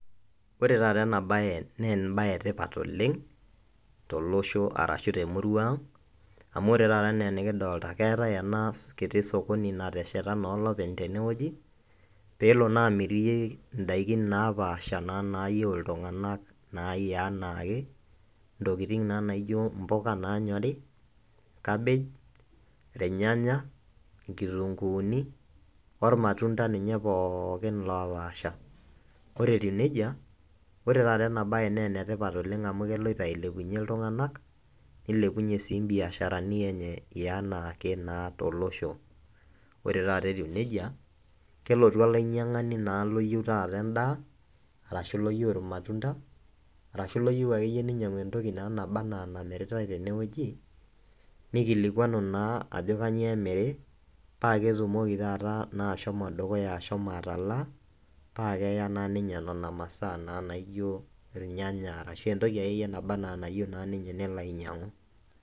ebaye etipat oleng' tolosho arashu temurua ang' amu ore taata enaa enikidolta naa keetae ena kiti sokoni nateshata olopeny teneweji pee elo naa amirie idaikin naa paasha nayieu iltung'anak enaake, intokitin naijio imbuka naanyori , kabej , ilnyanya, inkitunkuuni, olmatunda ninye pooki lopaasha, ore etiu nejia naa ore taata ena baye naa ketiu enaa keloito ailepunye ilng'anak nilepunyie, nilepunyie sii ibiasharani enye enaake naa tolosho, ore taata etiu nejia naa kelotu olainyiang'ani naa loyieu taata edaa ,arashu loyieu imatunda, arashu loyieu akeyie entoki nabaa enaa enamiritae teneweji, nikilikuanu naa ajo kanyioo emiri, paa ketumoki taata ashomo dukuya atalaa paa keya taa ninye nena maasa naijio ilnyanya ashu entoki akeyie neyieu ninye nelo anyiang'u.